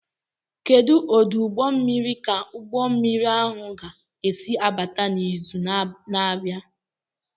Kedu ọdụ ụgbọ mmiri ka ụgbọ mmiri ahụ ga-esi abata n'izu na-abịa?